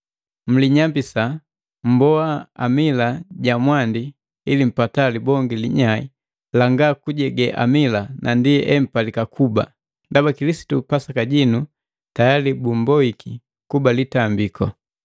Mlinyambisa, mmboa amila ja mwandi ili mpata libonge linyai langa kujege amila na ndi empalika kuba, ndaba Kilisitu Pasaka jinu, tayali bumboiki kuba litambiku.